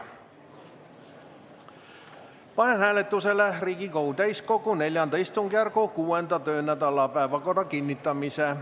Panen hääletusele Riigikogu täiskogu IV istungjärgu 6. töönädala päevakorra kinnitamise.